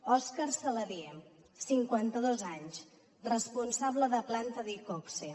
òscar saladié cinquanta dos anys responsable de planta d’iqoxe